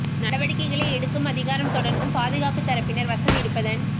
நடவடிக்கைகளை எடுக்கும் அதிகாரம் தொடர்ந்தும் பாது காப்பு தரப்பினர் வசம் இருப்பதன்